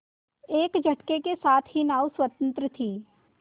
एक झटके के साथ ही नाव स्वतंत्र थी